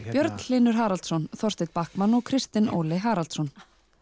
Björn Hlynur Haraldsson Þorsteinn Bachmann og Kristinn Óli Haraldsson